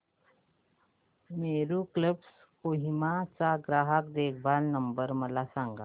Meru cabs Kohima चा ग्राहक देखभाल नंबर मला सांगा